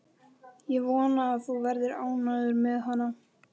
Ég vona að þú verðir ánægður með hana.